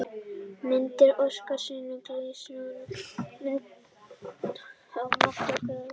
Myndir: Óskar Sindri Gíslason: Myndir af lirfustigi grjótkrabba og mökun grjótkrabba.